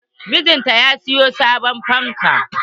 Mijinta ya siyo sabon fanka.